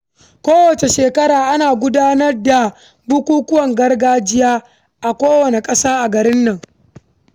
Kowace shekara, ana gudanar da bukukuwan gargajiya a manyan biranen kasar nan.